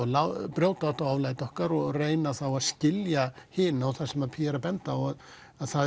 brjóta þetta oflæti okkar og reyna að skilja hina og það sem Pia er að benda á er að það